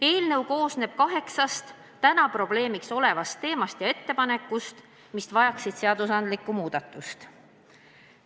Eelnõu käsitleb kaheksat praegu probleemiks olevat teemat ja teeb ettepanekuid seadustiku muutmise kohta.